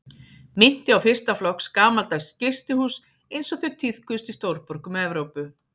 Minnti á fyrsta flokks gamaldags gistihús einsog þau tíðkuðust í stórborgum Evrópu.